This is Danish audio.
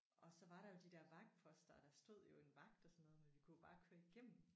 Og så var der jo de der vagtposter og der stod jo en vagt og sådan noget men vi kunne jo bare køre igennem